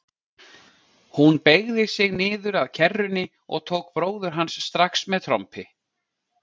Hún beygði sig niður að kerrunni og tók bróður hans strax með trompi.